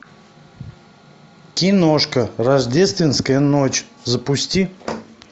киношка рождественская ночь запусти